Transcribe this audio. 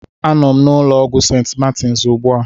Anọ m na ụlọ ọgwụ St. Martins ugbu a.